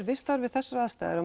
vistaður við þessar aðstæður